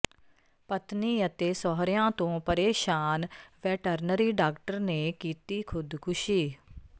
ਪਤਨੀ ਅਤੇ ਸਹੁਰਿਆਂ ਤੋਂ ਪ੍ਰੇਸ਼ਾਨ ਵੈਟਰਨਰੀ ਡਾਕਟਰ ਨੇ ਕੀਤੀ ਖੁਦਕੁਸ਼ੀ